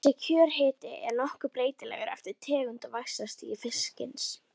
Þessi kjörhiti er nokkuð breytilegur eftir tegund og vaxtarstigi fisksins.